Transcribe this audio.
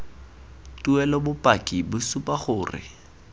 tuelo bopaki bo supa gore